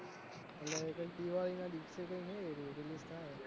એટલે મેં દિવાળી ના દિવસે મેં